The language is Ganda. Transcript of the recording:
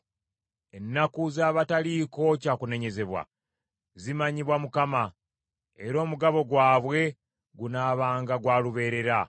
Ennaku z’abataliiko kya kunenyezebwa, zimanyibwa Mukama , era omugabo gwabwe gunaabanga gwa lubeerera.